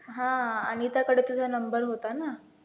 हा अनिताकडे तुझा number होता ना,